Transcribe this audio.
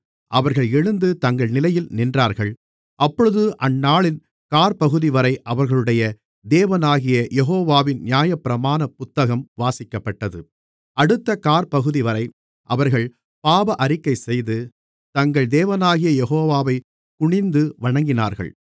அவர்கள் எழுந்து தங்கள் நிலையில் நின்றார்கள் அப்பொழுது அந்நாளின் காற்பகுதிவரை அவர்களுடைய தேவனாகிய யெகோவாவின் நியாயப்பிரமாணப் புத்தகம் வாசிக்கப்பட்டது அடுத்த காற்பகுதிவரை அவர்கள் பாவஅறிக்கைசெய்து தங்கள் தேவனாகிய யெகோவாவை குனிந்து வணங்கினார்கள்